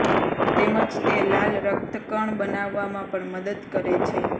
તેમજ તે લાલ રક્તકણ બનાવવામાં પણ મદદ કરે છે